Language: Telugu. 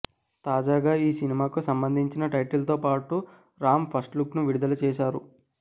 తాజాగా ఈ సినిమాకు సంబంధించిన టైటిల్ తోపాటు రామ్ ఫస్ట్ లుక్ ను విడుదల చేశారు